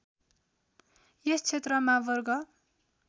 यस क्षेत्रमा वर्ग